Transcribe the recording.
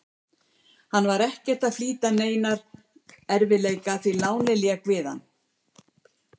Hann var ekkert að flýja neina erfiðleika, því lánið lék við hann.